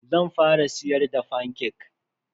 Zan fara siyar da fanke.